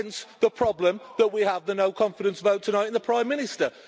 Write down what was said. Hence the problem that we have the no-confidence vote tonight in the Prime Minister.